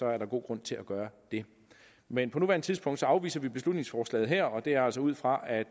er der god grund til at gøre det men på nuværende tidspunkt afviser vi beslutningsforslaget her og det er altså ud fra at